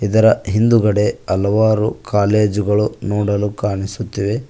ಅದರ ಹಿಂದುಗಡೆ ಹಲವಾರು ಕಾಲೇಜು ಗಳು ನೋಡಲು ಕಾಣಸುತಿವೆ.